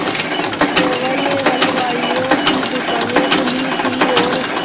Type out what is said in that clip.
केवल हलवाइयों की दूकानें खुली थी और